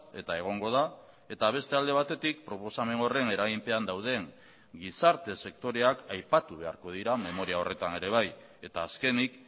eta egongo da eta beste alde batetik proposamen horren eraginpean dauden gizarte sektoreak aipatu beharko dira memoria horretan ere bai eta azkenik